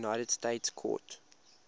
united states court